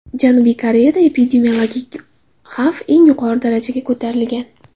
Janubiy Koreyada epidemiologik xavf eng yuqori darajaga ko‘tarilgan.